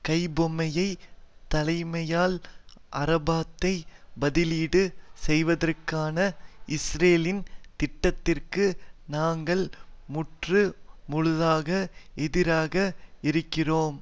கைப்பொம்மைத் தலைமையால் அரபாத்தை பதிலீடு செய்வதற்கான இஸ்ரேலின் திட்டத்திற்கு நாங்கள் முற்று முழுதாக எதிராக இருக்கின்றோம்